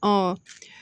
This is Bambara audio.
Ɔ